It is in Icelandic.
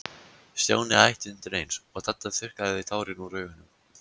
Stjáni hætti undir eins, og Dadda þurrkaði tárin úr augunum.